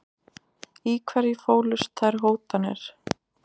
Í hverju fólust þær hótanir?